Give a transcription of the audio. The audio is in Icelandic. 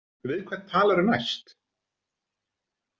Við hvern talarðu næst?